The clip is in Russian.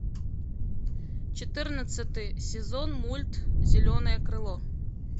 четырнадцатый сезон мульт зеленое крыло